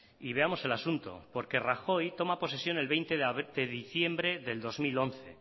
veamos el asunto porque rajoy toma posesión el veinte de diciembre del dos mil once